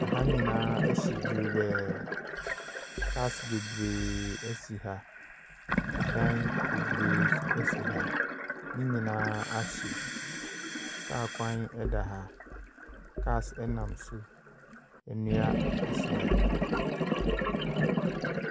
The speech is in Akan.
Ha nyinaa ahye dwerebɛɛ. Cars bebree si ha. Ɛdan bebree nso si ha. Ne nyinaa ahye. Car kwan da ha. Cars nam so. Nnua si ha.